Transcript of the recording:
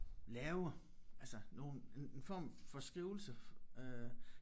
Lave altså nogen en en form for skrivelse øh